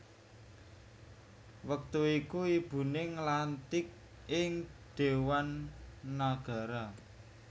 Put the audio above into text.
Wektu iku ibuné nglantik ing Déwan Nagara